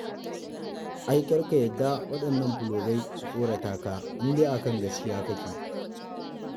Ai kar ka yarda waɗannan fulogai su tsorata ka in dai a kan gaskiya kake.